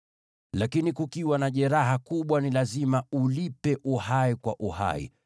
Lakini kukiwa na jeraha kubwa, ni lazima ulipe uhai kwa uhai,